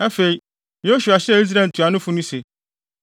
Afei, Yosua hyɛɛ Israel ntuanofo no se,